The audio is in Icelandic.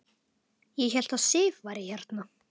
Ég hélt að Sif væri hérna.